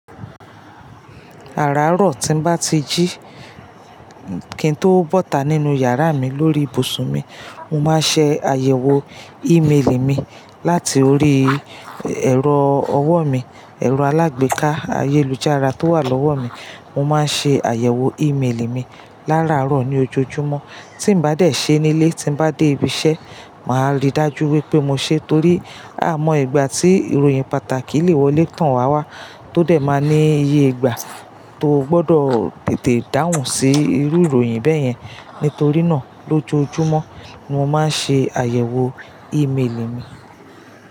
Àràárọ̀ tí ń bá ti jí, kí n tó bọ́ta nínú yàrá mi lórí ibùsùn mi, mo máa ń ṣe àyẹ̀wò ímeèlì mi láti orí ẹ̀rọ ọwọ́ mi, ẹ̀rọ alágbèéká ayélujára tó wà lọ́wọ́ mi. Mo máa ń ṣe àyẹ̀wò ímeèlì mi láràárọ̀ ní ojoojúmọ́. Tí mo bá dé ṣe nílé, tí mo bá dé ibi iṣẹ́, màá rí dájú wípé mo ṣe é torí a mọ ìgbà tí ìròyìn pàtàkì lè wọlé tán wá wá, tó dé máa ní iye ìgbà tó gbọdọ̀ tètè dáhùn sí irú ìròyìn bẹ́yẹn. Nítorí náà, lójoojúmọ́ ni mo máa ń ṣe àyẹ̀wò ímeèlì mi.